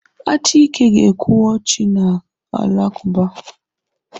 Achike ga-ekwu ọ chi ndị Alakụba.